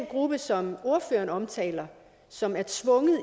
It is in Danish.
gruppe som ordføreren omtaler som er tvunget